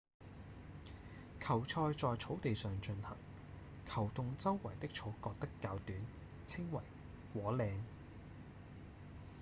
球賽在草地上進行球洞周圍的草割得較短稱為果嶺